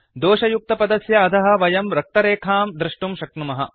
दोषयुक्तपदस्य अधः वयं रक्तरेखां दृष्टुं शक्नुमः